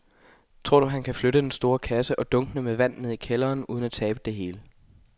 Tror du, at han kan flytte den store kasse og dunkene med vand ned i kælderen uden at tabe det hele?